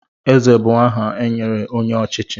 Eze bụ aha e nyere onye ọchịchị.